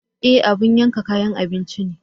Ee! abin yanka kayan abinci ne.